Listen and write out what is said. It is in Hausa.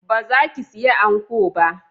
Ba za ki saya anko ba?